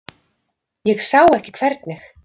Ég sá ekki hvernig.